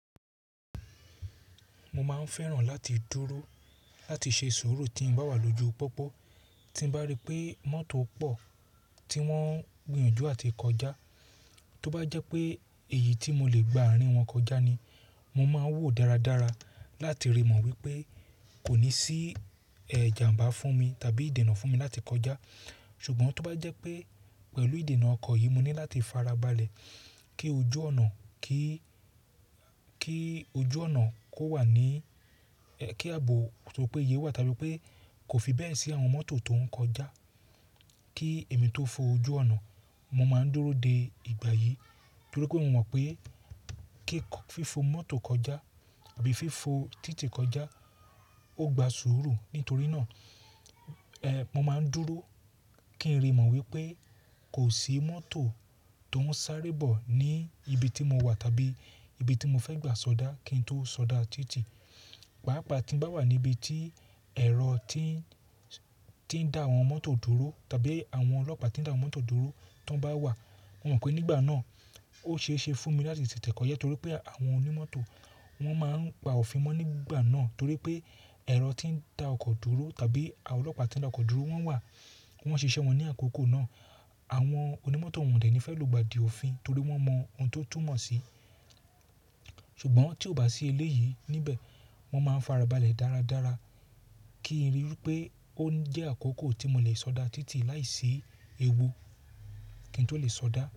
Mo máa ń fẹ́ràn láti dúró láti ṣe sùúrù tí mo bá wà lójú pópó, tí bá rí pé mọ́tò pọ̀ tí wọ́n ń gbìyànjú àti kọjá, tó bá jẹ́ pé èyí tí mo lè gba àárín wọn kọjá ni, mo máa ń wò dáradára láti rí mọ̀ wípé kò ní sí ijàmbá fún mi tàbí ìdènà fún mi láti kọjá. Ṣùgbọ́n tó bá jẹ́ pé pẹ̀lú ìdènà ọkọ̀ yìí mo ní láti farabalẹ̀ kí ojú ọ̀nà kó wà ní, kí ààbò tó péye wà tàbí pé kò fi bẹ́ẹ̀ sí àwọn mọ́tò tó ń kọjá, kí èmi tó fo ojú ọ̀nà, mo máa ń dúró de ìgbà yìí nítorí pé mo mọ̀ pé kí fi fo mọ́tò kọjá àbí fi fo títì kọjá ó gba sùúrù. Nítorí náà, mo máa ń dúró kí n rí mọ̀ wípé kò sí mọ́tò tó ń sáré bọ̀ ní ibi tí mo wà tàbí ibi tí mo fẹ́ gbà sọdá kí n tó sọdá títì. Pàápàá tí ń bá wà níbi tí ẹ̀rọ tí ń dá àwọn mọ́tò dúró tàbí àwọn ọlọ́pàá tí ń dá mọ́tò dúró tán bá wà, mo mọ̀ pé nígbà náà ó ṣe é ṣe fún mi láti tètè kọ ja torí pé àwọn onímọ́tò wọn máa ń gba òfin wọn nígbà náà torí pé ẹ̀rọ tí ń dá ọkọ̀ dúró tàbí àwọn ọlọ́pàá tí ń dá ọkọ̀ dúró wọ́n wà, wọ́n ṣíṣe wọn ní àkókò náà. Àwọn onímọ́tò wọ̀n dẹ̀ ní fẹ́ lugbà di òfin torí wọ́n mọ ohun tó túmọ̀ sí i. Ṣùgbọ́n tí ó bá sí ilé yìí, níbẹ̀ mó máa ń farabalẹ̀ dáradára kí n ríi pé ó ń jẹ́ àkókò tí mo lè sọdá títì láìsí ewu kí n tó lè sọdá.